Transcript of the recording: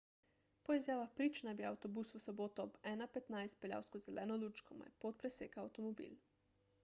po izjavah prič naj bi avtobus v soboto ob 1.15 peljal skozi zeleno luč ko mu je pot presekal avtomobil